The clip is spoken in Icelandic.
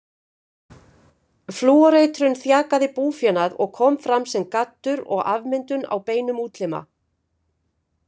Flúoreitrun þjakaði búfénað og kom fram sem gaddur og afmyndun á beinum útlima.